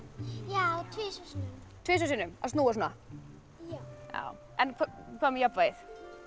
já tvisvar sinnum tvisvar sinnum að snúa svona en hvað með jafnvægið